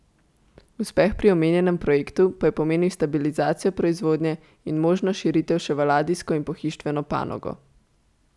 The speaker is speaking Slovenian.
Uspeh pri omenjenem projektu pa pomenil stabilizacijo proizvodnje in možno širitev še v ladijsko in pohištveno panogo.